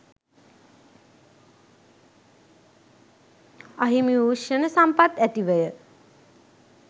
අහිමි වූ ක්ෂණ සම්පත් ඇතිවය